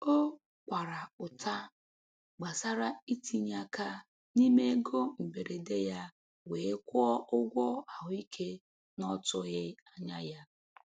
O kwara ụta gbasara itinye aka n'ime ego mberede ya wee kwụọ ụgwọ ahụike n'ọtụghị anya ya.